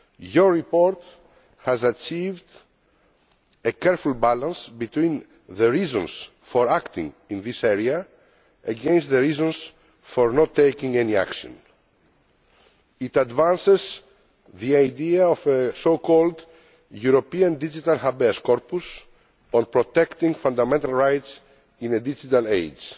Your report has achieved a careful balance between the reasons for acting in this area and the reasons for not taking any action. It advances the idea of a so called European digital habeas corpus on protecting fundamental rights in a digital age.